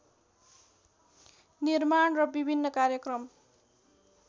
निर्माण र विभिन्न कार्यक्रम